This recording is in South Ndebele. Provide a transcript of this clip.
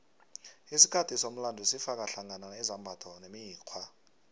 isikhathi somlando sifaka hlangana izimbatho nemikghwa